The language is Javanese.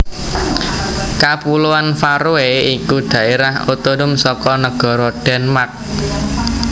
Kapuloan Faroe iku dhaérah otonom saka negara Denmark